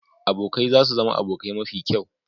Abokai za su zama abokai mafi kyau.